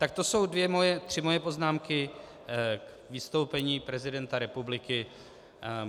Tak to jsou tři moje poznámky k vystoupení prezidenta republiky.